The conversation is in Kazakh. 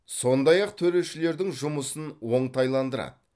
сондай ақ төрешілердің жұмысын оңтайландырады